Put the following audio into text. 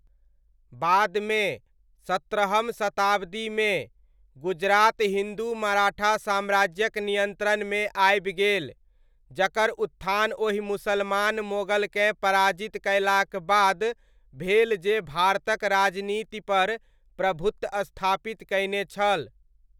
बादमे, सत्रहम शताब्दीमे, गुजरात हिन्दू मराठा साम्राज्यक नियन्त्रणमे आबि गेल, जकर उत्थान ओहि मुसलमान मोगलकेँ पराजित कयलाक बाद भेल जे भारतक राजनीतिपर प्रभुत्व स्थापित कयने छल।